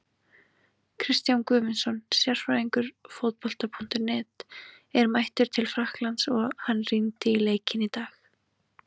Kristján Guðmundsson, sérfræðingur Fótbolta.net, er mættur til Frakklands og hann rýndi í leikinn í dag.